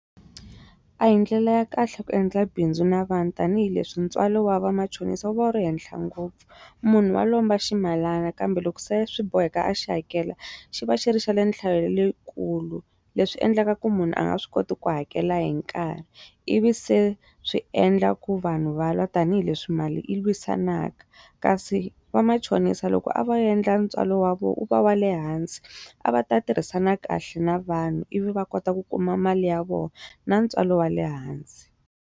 A hi ndlela ya kahle ku endla bindzu na vanhu tanihileswi ntswalo wa vamachonisa wu va wu ri henhla ngopfu munhu wa lomba ximalana kambe loko se swi boheka a xi hakela xi va xi ri xa nhlayo leyikulu leswi endlaka ku munhu a nga swi koti ku hakela hi nkarhi i vi se swi endla ku vanhu va lwa tanihileswi mali yi lwisanaka kasi va machonisa loko a va endla ntswalo wa vona u va wa le hansi a va ta tirhisana kahle na vanhu i vi va kota ku kuma mali ya vona na ntswalo wa le hansi.